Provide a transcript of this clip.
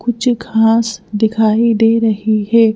कुछ खास दिखाई दे रही है।